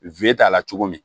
We t'a la cogo min